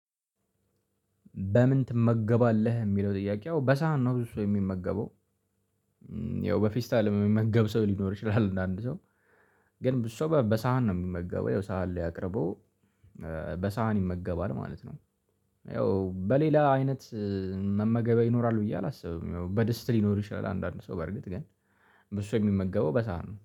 በምን ትመገባለህ የሚለው ጥያቄው በሳህና ብዙ ሰው የሚመገበው ያው በፌስታል የሚመገብ ሰው ሊኖር ይችላል እንድ አንድ ሰው ግን ብዙ ሰው በሳህን ነው የሚመገበው ያው ሳህን ላይ አቅርቦ በሳህን ይመገባል ማለት ነው። ያው በሌላ አይነት መመገቢያ ይኖራል ብዬ አላስብም። ይሄው በደስታ ሊኖርሽ ይላል አንዳንድ ሰው በርግጥ ግን በሱ የሚመገበው በሳህን ነው